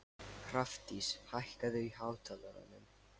Hrafndís, hækkaðu í hátalaranum.